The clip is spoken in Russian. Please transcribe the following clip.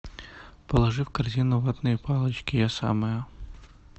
положи в корзину ватные палочки я самая